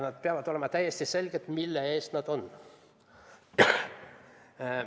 Ja peab olema täiesti selge, mille eest need on.